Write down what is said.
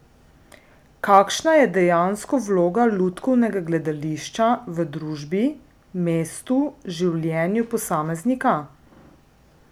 Kakšna je dejansko vloga lutkovnega gledališča v družbi, mestu, življenju posameznika?